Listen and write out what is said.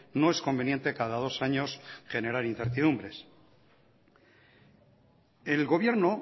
no es conveniente cada dos años generar incertidumbre el gobierno